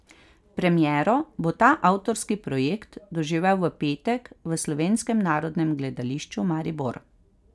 Premiero bo ta avtorski projekt doživel v petek v Slovenskem narodnem gledališču Maribor.